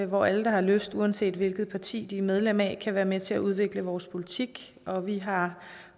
hvor alle der har lyst uanset hvilket parti de er medlem af kan være med til at udvikle vores politik og vi har